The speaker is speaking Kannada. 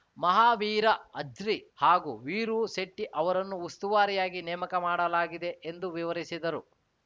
ಮಹಾವೀರ ಅಜ್ರಿ ಹಾಗೂ ವೀರೂ ಶೆಟ್ಟಿಅವರನ್ನು ಉಸ್ತುವಾರಿಯಾಗಿ ನೇಮಕ ಮಾಡಲಾಗಿದೆ ಎಂದು ವಿವರಿಸಿದರು